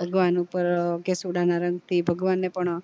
ભગવાન ઉપર કેસુડાં ના રંગ થી ભગવાન ને પણ